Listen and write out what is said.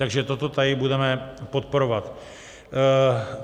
Takže toto tady budeme podporovat.